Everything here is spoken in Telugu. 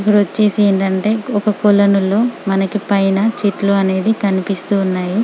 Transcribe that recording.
ఇప్పుడు వచ్చేసి ఏంటంటే ఒక కోలోనాలో మనకు పైన చెట్లు అనేది కనిపిస్తుఉన్నాయి .